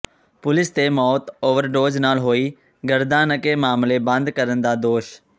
police ਤੇ ਮੌਤ overdose ਨਾਲ ਹੋਈ ਗਰਦਾਨਕੇ ਮਾਮਲੇ ਬੰਦ ਕਰਨ ਦਾ ਦੋਸ਼